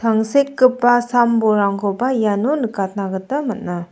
angsekgipa sam-bolrangkoba iano nikatna gita man·a.